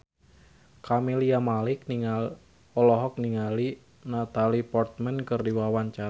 Camelia Malik olohok ningali Natalie Portman keur diwawancara